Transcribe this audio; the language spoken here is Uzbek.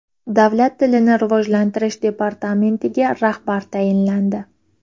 Davlat tilini rivojlantirish departamentiga rahbar tayinlandi.